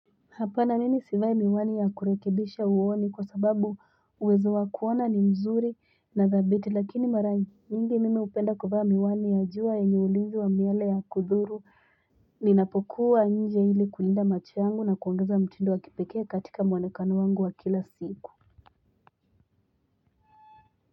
Hapana mimi sivai miwani yakurekebisha uoni kwasababu uwezo wa kuona ni mzuri na thabiti lakini mara nyingi mimi upenda kuvaa miwani ya jua enyeulizi miale ya kudhuru ninapokuwa nje ili kulinda machoyangu na kuongeza mtindo wa kipekea katika mwonekano wangu wa kilasiku.